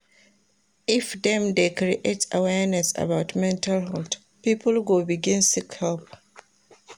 If dem dey create awareness about mental health, pipo go begin seek help.